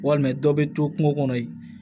Walima dɔ bɛ to kungo kɔnɔ yen